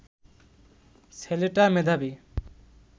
ছেলেটা মেধাবী